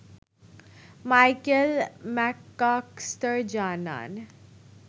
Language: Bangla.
মাইকেল ম্যাককাস্কার জানান